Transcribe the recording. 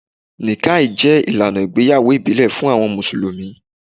Níkkàh jẹ ilànà ìgbéyàwó ìbílẹ̀ fún awọn musulumi.